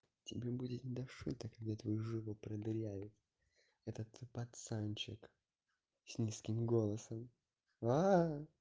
тебе будет не до шуток когда твою жопу продырявит этот пацанчик с низким голосом